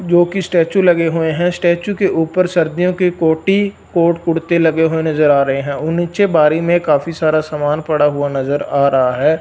जो कि स्टेच्यू लगे हुए हैं स्टेच्यू के ऊपर सर्दियों के कोटी और कुर्ते लगे हुए नज़र आ रहे हैं और नीचे बाहर ही में काफी सारा सामान पड़ा हुआ नज़र आ रहा है।